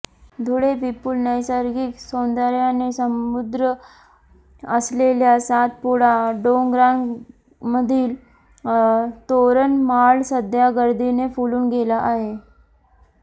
धुळे विपुल नैसर्गिक सौंदर्याने समृद्ध असलेल्या सातपुडा डोंगररांगामधील तोरणमाळ सध्या गर्दीने फुलून गेला आहे